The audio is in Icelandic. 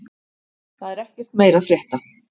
Það er ekkert meira að frétta